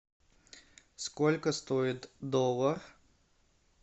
сколько стоит доллар